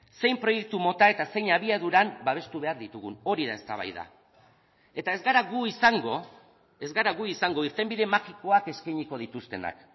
zein proiektu mota eta zein abiaduran babestu behar ditugun hori da eztabaida eta ez gara gu izango ez gara gu izango irtenbide magikoak eskainiko dituztenak